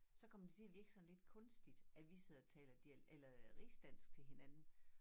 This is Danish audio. Så kommer det til at virke sådan lidt kunstigt at vi sidder og taler eller øh rigsdansk til hinanden